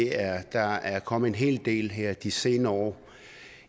er at der er kommet en hel del her de senere år